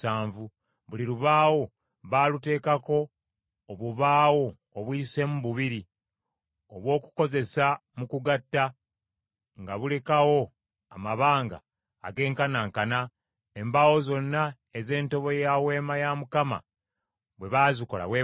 Buli lubaawo baaluteekako obubaawo obuyiseemu bubiri, obw’okukozesa mu kugatta, nga bulekawo amabanga agenkanankana. Embaawo zonna ez’entobo ya Weema bwe baazikola bwe batyo.